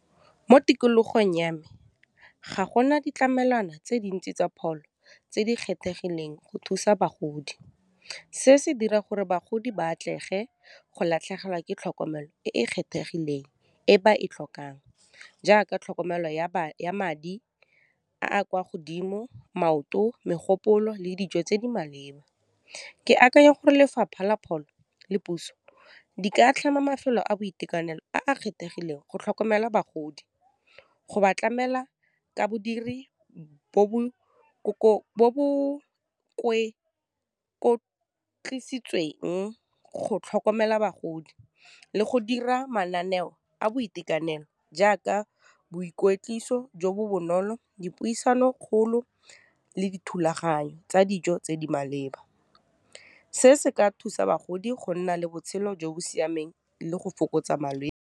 Mo tikologong ya me, ga gona ditlamelwana tse dintsi tsa pholo tse di kgethegileng go thusa bagodi, se se dira gore bagodi ba atlege go latlhegelwa ke tlhokomelo e e kgethegileng e ba e tlhokang, jaaka tlhokomelo ya madi a a kwa godimo, maoto, megopolo, le dijo tse di maleba. Ke akanya gore lefapha la pholo le puso di ka tlhama mafelo a boitekanelo a a kgethegileng go tlhokomela bagodi, go ba tlamela ka bodiri bo bo go tlhokomela bagodi, le go dira mananeo a boitekanelo jaaka boikwetliso jo bo bonolo, dipuisano kgolo le dithulaganyo tsa dijo tse di maleba. Se se ka thusa bagodi go nna le botshelo jo bo siameng le go fokotsa malwetse.